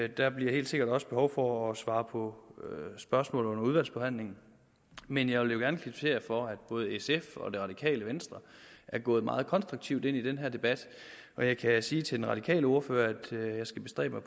der bliver helt sikkert også behov for at svare på spørgsmål under udvalgsbehandlingen men jeg vil gerne kvittere for at både sf og det radikale venstre er gået meget konstruktivt ind i den her debat og jeg kan sige til den radikale ordfører at jeg skal bestræbe